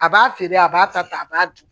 A b'a feere a b'a ta ta a b'a dun